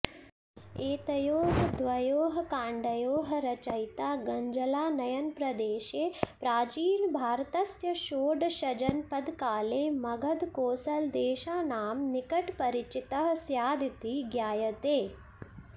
एतयोः द्वयोः काण्डयोः रचयिता गङ्गजलानयनप्रदेशे प्राचीनभारतस्य षोडशजनपदकाले मगधकोसलदेशानां निकटपरिचितः स्यादिति ज्ञायते